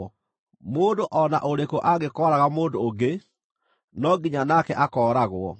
“ ‘Mũndũ o na ũrĩkũ angĩkooraga mũndũ ũngĩ, no nginya nake akooragwo.